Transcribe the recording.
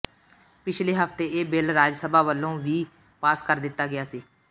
ਪਿਛਲੇ ਹਫਤੇ ਇਹ ਬਿੱਲ ਰਾਜ ਸਭਾ ਵੱਲੋਂ ਵੀ ਪਾਸ ਕਰ ਦਿੱਤਾ ਗਿਆ ਸੀ